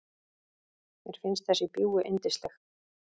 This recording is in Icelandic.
Mér finnst þessi bjúgu yndisleg.